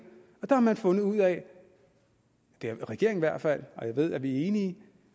og der har man fundet ud af det har regeringen i hvert fald og jeg ved vi er enige